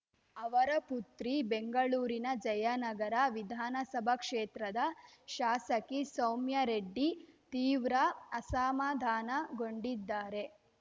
ಅವರ ಪುತ್ರಿ ಬೆಂಗಳೂರಿನ ಜಯನಗರ ವಿಧಾನಸಭಾ ಕ್ಷೇತ್ರದ ಶಾಸಕಿ ಸೌಮ್ಯಾ ರೆಡ್ಡಿ ತೀವ್ರ ಅಸಮಾಧಾನಗೊಂಡಿದ್ದಾರೆ